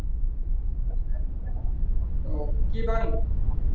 ওহ কি bank